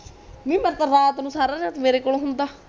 ਨੀ ਮੈਂ ਤਾ ਰਾਤ ਨੂੰ ਸਾਰੀ ਰਾਤ ਮੇਰੇ ਕੋਲ ਹੁੰਦਾ